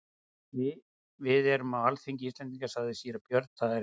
Við erum á alþingi Íslendinga, sagði síra Björn,-það er helgur staður.